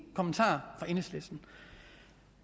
kommentarer fra enhedslisten